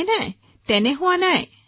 নহয় নহয় নহয় ছাৰ